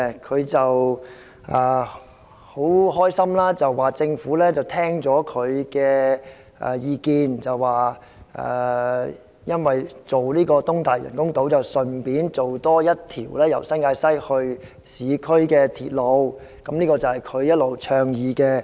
他很開心地說政府聽取了他的意見，興建東大嶼人工島時，會一併興建多一條由新界西直達市區的鐵路，這是他一直倡議的。